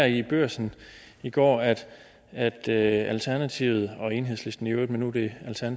i børsen i går at at alternativet og enhedslisten i øvrigt men nu er det